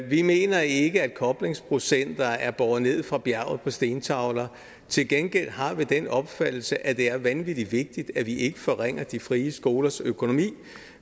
vi mener ikke at koblingsprocenter er båret ned fra bjerget på stentavler til gengæld har vi den opfattelse at det er vanvittig vigtigt at vi ikke forringer de frie skolers økonomi